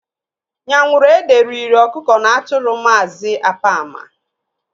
Nyanwuruede riri ọkụkọ na atụrụ Maazị Apama.